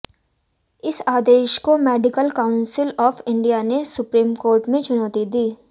इस आदेश को मेडिकल काउंसिल ऑफ इंडिया ने सुप्रीम कोर्ट में चुनौती दी